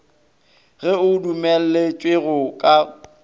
ge o dumelletšwe go ka